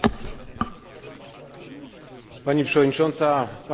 Unia Europejska znalazła się na niebezpiecznym finansowym zakręcie.